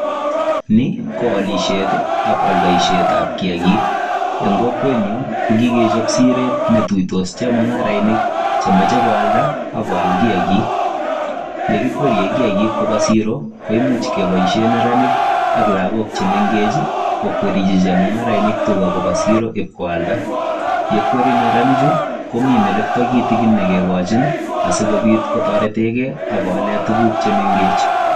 Ni ko aliset ak aldaetab kiyagik, en kokwet nyun kogikechob siret ne ituitos chemung'arainik chemoche koalda ak koal kiyagik, Ye kikwere kiyagik koba siro koimuch keboishen neranik ak logok chemengech kokwerji chemung'arainik tuga koba siro ibkoalda. Ye kwerji neranichu komi melekto kitigin ne kigochin asikobit kotoretenge ak kaolen tuguk che mengech.